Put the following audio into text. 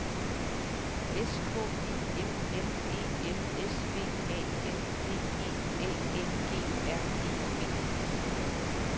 S K I M M E L S V A M P E A N G R E B